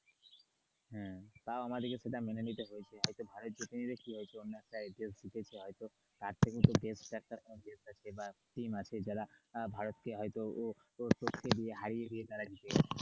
হম তাও আমাদেরকে সেটা মেনে নিতে হয়েছে হয়তো ভারত জিতে নি তো অন্য একটা দেশ জিতেছে হয়তো তাদের একটা দেশ আছে বা team আছে যারা ভারতকে হয়তো ও হারিয়ে দিয়ে জিতে গেছে।